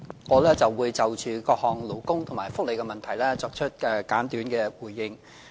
我會就各項勞工和福利問題作出簡短的回應。